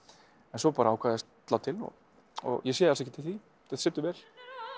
en svo bara ákvað ég að slá til og ég sé alls ekki eftir því þetta situr vel